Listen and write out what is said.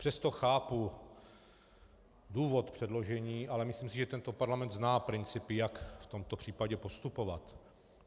Přesto chápu důvod předložení, ale myslím si, že tento parlament zná principy, jak v tomto případě postupovat.